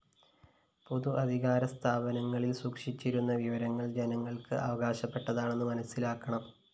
പൊതു അധികാരസ്ഥാനങ്ങളില്‍ സൂക്ഷിച്ചിരിക്കുന്ന വിവരങ്ങള്‍ ജനങ്ങള്‍ക്ക് അവകാശപ്പെട്ടതാണെന്ന് മനസ്സിലാക്കണം